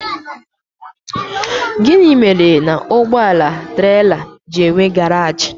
Gịnị mere na ụgbọala trela ji enwe garaj?